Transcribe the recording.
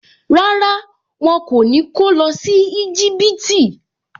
Rárá, wọn kò ní kó lọ sí Íjíbítì